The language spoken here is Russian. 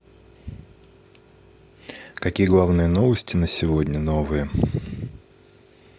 какие главные новости на сегодня новые